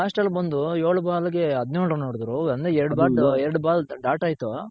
last ಅಲ್ ಬಂದು ಯೋಳ್ ಬಾಲ್ಗೆ ಹದ್ನ್ಯೋಳ್ ರನ್ ಹೊಡಿದ್ರು ಅಂದ್ರೆ ಎರಡ್ ball ದಾಟಾಯ್ತು